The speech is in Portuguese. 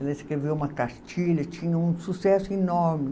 Ela escreveu uma cartilha, tinha um sucesso enorme.